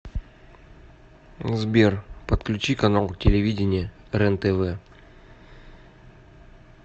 сбер подключи канал телевидения рентв